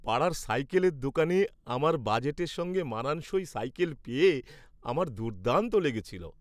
পাড়ার সাইকেলের দোকানে আমার বাজেটের সঙ্গে মানানসই সাইকেল পেয়ে আমার দুর্দান্ত লেগেছিল।